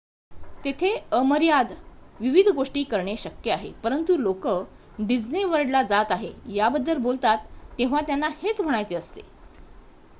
"तेथे अमर्याद विविध गोष्टी करणे शक्य आहे परंतु लोकं "डिस्ने वर्ल्डला जात आहे" याबद्दल बोलतात तेव्हा त्यांना हेच म्हणायचे असते.